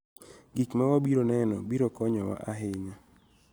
Gik ma wabiro neno biro konyowa ahinya.